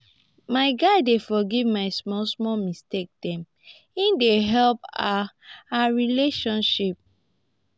my guy dey forgive my small-small mistake dem e dey help our our relationship.